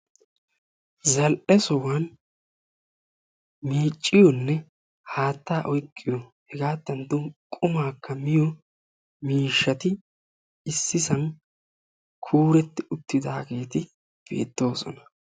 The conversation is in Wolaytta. Zal"e sohuwan, miicciyonne haatta oyqqiyo hegaattankka qumaakka miyo miishshati issisan kuuretti uttidaageeti beettoosona